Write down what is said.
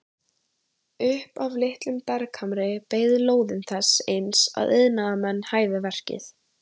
Upp af litlum berghamri beið lóðin þess eins að iðnaðarmenn hæfu verkið.